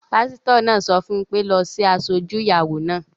Pásítọ̀ náà sọ fún mi pé "lọ sí asọ-ojú ìyàwó náà!"